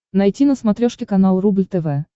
найти на смотрешке канал рубль тв